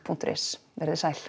punktur is veriði sæl